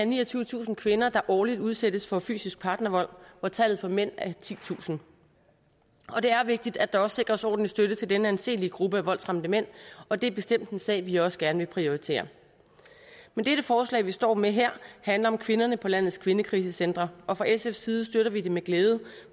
niogtyvetusind kvinder der årligt udsættes for fysisk partnervold hvor tallet for mænd er titusind og det er vigtigt at der også sikres ordentlig støtte til denne anselige gruppe af voldsramte mænd og det er bestemt en sag vi også gerne vil prioritere men dette forslag vi står med her handler om kvinderne på landets kvindekrisecentre og fra sfs side støtter vi det med glæde